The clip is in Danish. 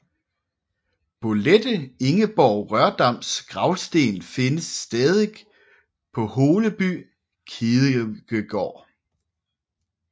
Bolette Ingeborg Rørdams gravsten findes stadig på Holeby kirkegård